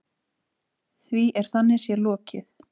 Því er þannig séð lokið.